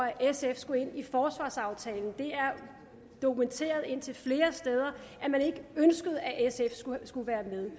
at sf skulle ind i forsvarsaftalen det er dokumenteret indtil flere steder at man ikke ønskede at sf skulle skulle være med